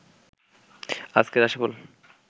আজকের রাশিফল